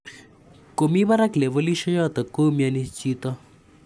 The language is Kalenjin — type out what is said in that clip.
Komi parak levolishe chotok , koumiani chito